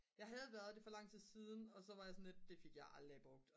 jeg havde været det for lang tid siden og så var jeg sådan lidt det fik jeg aldrig brugt